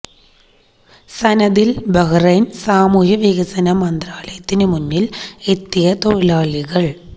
സനദില് ബഹ്റൈന് സാമൂഹ്യ വികസന മന്ത്രാലയത്തിനു മുന്നില് എത്തിയ തൊഴിലാളികള്